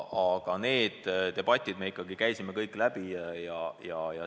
Selle debati me käisime läbi.